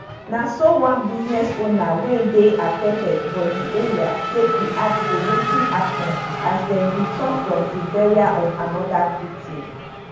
na so one business owner wey dey affected for di area take react to wetin happun as dem return from di burial of anoda victim